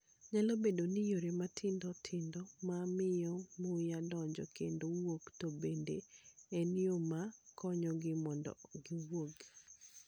Nyalo bedo ni yore matindo tindo ma miyo muya donjo kendo wuok, to bende en yo ma konyogi mondo giwuog.